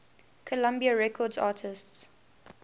columbia records artists